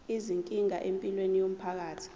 izinkinga empilweni yomphakathi